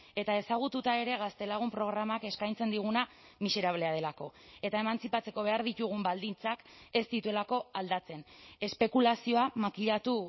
eta ezagututa ere gaztelagun programak eskaintzen diguna miserablea delako eta emantzipatzeko behar ditugun baldintzak ez dituelako aldatzen espekulazioa makilatu